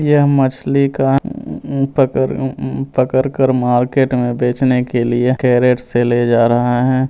यह मछली का उम पकर उम पकड़ कर मार्केट में बेचने के लिए कैरेट से ले जा रहा है।